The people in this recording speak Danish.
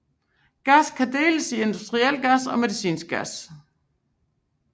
Gas kan deles i industriel gas og medicinsk gas